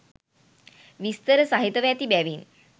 විස්තර සහිතව ඇති බැවින්